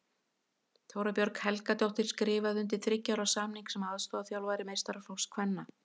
Þóra Björg Helgadóttir skrifaði undir þriggja ára samning sem aðstoðarþjálfari meistaraflokks kvenna.